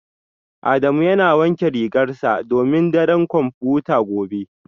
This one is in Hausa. Adamu yana wankin rigarsa domin daren kwamfuta gobe